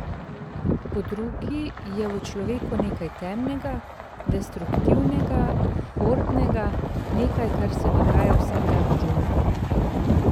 Po drugi je v človeku nekaj temnega, destruktivnega, hordnega, nekaj, kar se dogaja vsak dan v džungli.